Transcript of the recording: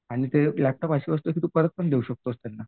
आणि लॅपटॉप एक अशी वस्तू आहे की तू परत पण देऊ शकतोस त्यांना.